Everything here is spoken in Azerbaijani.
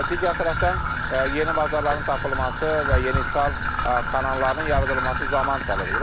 Digər tərəfdən yeni bazarların tapılması və yeni ixal kanallarının yaradılması zaman tələb edir.